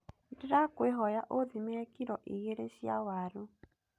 Ndĩrakũĩhoya ũthimĩrĩ kiro igeerĩ cia waru.